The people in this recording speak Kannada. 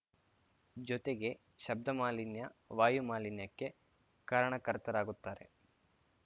ಜೊತೆಗೆ ಶಬ್ಧ ಮಾಲಿನ್ಯ ವಾಯು ಮಾಲಿನ್ಯಕ್ಕೆ ಕಾರಣಕರ್ತರಾಗುತ್ತಾರೆ